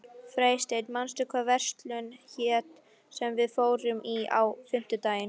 Freysteinn, manstu hvað verslunin hét sem við fórum í á fimmtudaginn?